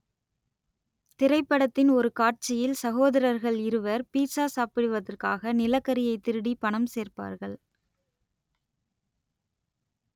திரைப்படத்தின் ஒரு காட்சியில் சகோதரர்கள் இருவர் பீட்ஸா சாப்பிடுவதற்காக நிலக்கரியை திருடி பணம் சேர்ப்பார்கள்